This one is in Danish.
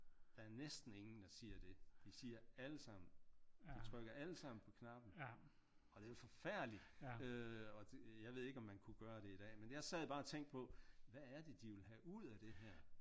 Der er næsten ingen der siger det de siger alle sammen de trykker alle sammen på knappen og det er jo forfærdeligt øh og jeg ved ikke om man kunne gøre det i dag men jeg sad bare og tænkte på hvad er det de vil have ud af det her?